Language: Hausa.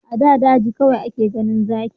A da daji kawai ake ganin zaki